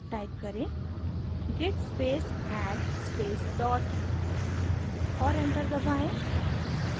type करें: git space add space dot और enter दबाएँ